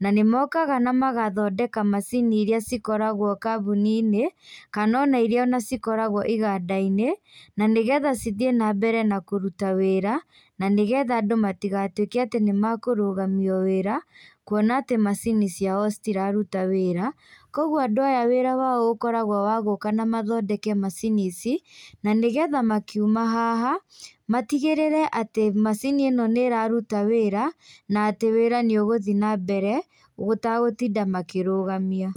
na nĩmokaga na magathondeka macini iria cikoragwo kambuninĩ, kana ona iria ona cikoragwo igandainĩ, na nĩgetha cithiĩ nambere na kũruta wĩra, na nĩgetha andũ matigatuĩke atĩ nĩmakũrũgamio wĩra, kuona atĩ macini ciao citiraruta wĩra, koguo andũ aya wĩra wao ũkoragwo wa gũka na mathondeke macini ici, na nĩgetha makiuma haha, matigĩrĩre atĩ macini ĩno nĩraruta wĩra, na atĩ wĩra nĩũgũthiĩ nambere, gũtagũtinda makĩrũgamia.